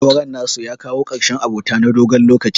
Auren nasu ya kawo ƙarshen abota na dogon lokaci.